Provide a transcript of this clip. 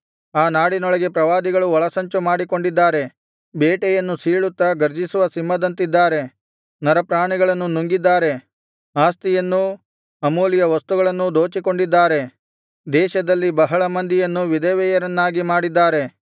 ಆ ನಾಡಿನೊಳಗೆ ಪ್ರವಾದಿಗಳು ಒಳಸಂಚು ಮಾಡಿಕೊಂಡಿದ್ದಾರೆ ಬೇಟೆಯನ್ನು ಸೀಳುತ್ತಾ ಗರ್ಜಿಸುವ ಸಿಂಹದಂತಿದ್ದಾರೆ ನರಪ್ರಾಣಿಗಳನ್ನು ನುಂಗಿದ್ದಾರೆ ಆಸ್ತಿಯನ್ನೂ ಅಮೂಲ್ಯ ವಸ್ತುಗಳನ್ನೂ ದೋಚಿಕೊಂಡಿದ್ದಾರೆ ದೇಶದಲ್ಲಿ ಬಹಳ ಮಂದಿಯನ್ನು ವಿಧವೆಯರನ್ನಾಗಿ ಮಾಡಿದ್ದಾರೆ